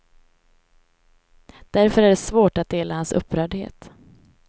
Därför är det svårt att dela hans upprördhet.